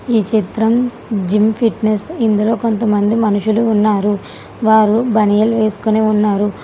ఈ చిత్రం gym fitness ఇందులో కొంతమంది మనుషులు ఉన్నారు వారు బనియల్ వేసుకొని ఉన్నారు.